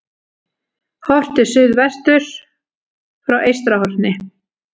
Horft til suðvesturs frá Eystrahorni.